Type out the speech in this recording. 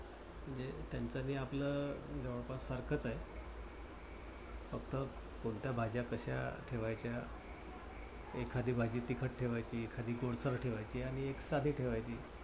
म्हणजे त्याचं आणि आपल जवळपास सारखंच आहे. फक्त कोणत्या भाज्या कश्या ठेवायच्या? एखादी भाजी तिखट ठेवायची. एखादी गोडसर ठेवायची आणि एक साधी ठेवायची.